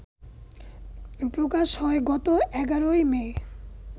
প্রকাশ হয় গত এগারোই মে